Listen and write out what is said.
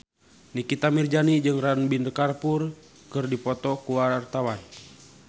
Nikita Mirzani jeung Ranbir Kapoor keur dipoto ku wartawan